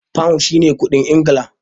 Pound shi ne kuɗin Ingila.